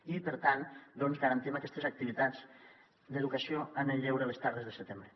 i per tant doncs garantim aquestes activitats d’educació en el lleure les tardes de setembre